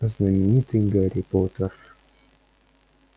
знаменитый гарри поттер